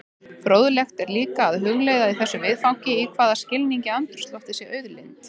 Fróðlegt er líka að hugleiða í þessu viðfangi í hvaða skilningi andrúmsloftið sé auðlind.